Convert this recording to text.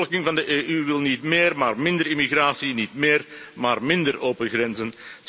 De bevolking van de EU wil niet meer maar minder immigratie, niet meer maar minder open grenzen.